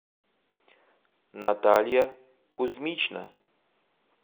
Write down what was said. наталья кузьмична